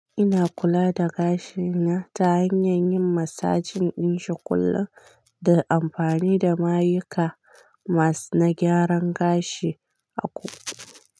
Ina kula da gashina ta hanyar yin massage din shi kullum da amfani da mayuka masu na gyaran gashi aku.